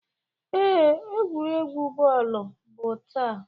Ee, egwuregwu bọọlụ bụ taa.